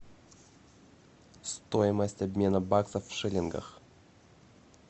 стоимость обмена баксов в шиллингах